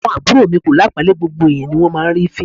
Àwọn àbúrò mi kò lápọ̀ńlé, gbogbo ẹ̀yán ni wón máa ń rí fín.